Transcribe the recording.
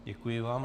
Děkuji vám.